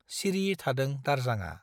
सिरि थादों दारजांआ ।